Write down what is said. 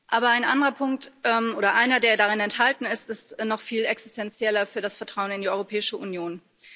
Aber ein anderer Punkt oder einer, der darin enthalten ist, ist noch viel existenzieller für das Vertrauen in die Europäische Union.